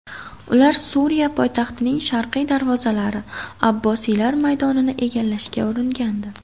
Ular Suriya poytaxtining sharqiy darvozalari Abbosiylar maydonini egallashga uringandi .